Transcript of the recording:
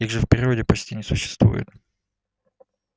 их же в природе почти не существует